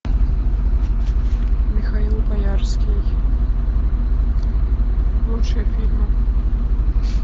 михаил боярский лучшие фильмы